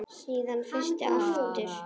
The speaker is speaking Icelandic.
Síðan frysti aftur.